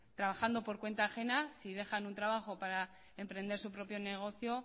trabajando en cuenta ajena si dejan un trabajo para emprender su propio negocio